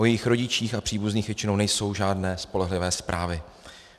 O jejich rodičích a příbuzných většinou nejsou žádné spolehlivé zprávy.